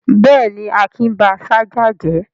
Bẹ́ẹ̀ ni, Akin ba ṣájà jẹ́.